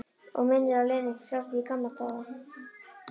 Og minnir á Lenu frá því í gamla daga.